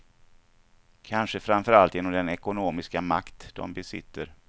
Kanske framför allt genom den ekonomiska makt de besitter.